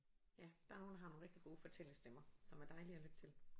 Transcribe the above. Ja der er nogle der har nogle rigtig gode fortællerstemmer som er dejlige at lytte til